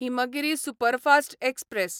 Himgiri superfast express